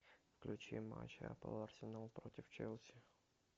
включи матч апл арсенал против челси